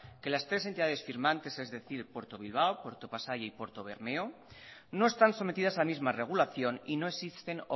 que las tres entidades firmantes es decir puerto bilbao puerto pasaia y puerto bermeo no están sometidas a la misma regulación y no existen